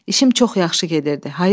İşim çox yaxşı gedirdi,